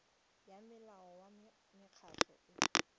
ya molao wa mekgatlho e